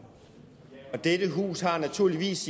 have en ens